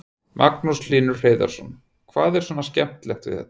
Magnús Hlynur Hreiðarsson: Hvað er svona skemmtilegt við þetta?